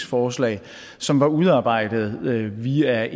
forslag som var udarbejdet via